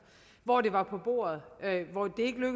hvor det var på bordet